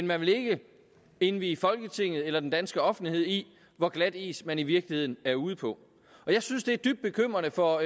man ikke vil indvie folketinget eller den danske offentlighed i hvor glat is man i virkeligheden er ude på jeg synes det er dybt bekymrende for